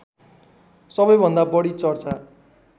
सबैभन्दा बढी चर्चा